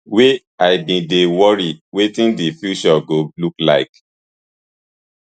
wey i bin dey worry wetin di future go look like